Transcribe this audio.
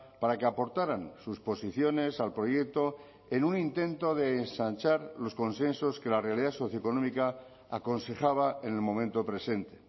para que aportaran sus posiciones al proyecto en un intento de ensanchar los consensos que la realidad socioeconómica aconsejaba en el momento presente